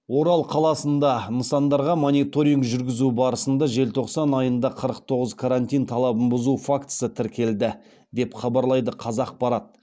орал қаласында нысандарға мониторинг жүргізу барысында желтоқсан айында қырық тоғыз карантин талабын бұзу фактісі тіркелді деп хабарлайды қазақпарат